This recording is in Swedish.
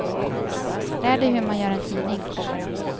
Lär dig hur man gör en tidning.